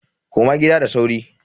Koma gida da sauri.